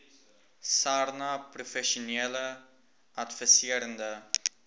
sarnap professionele adviserende